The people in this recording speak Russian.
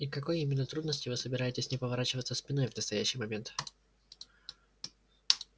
и к какой именно трудности вы собираетесь не поворачиваться спиной в настоящий момент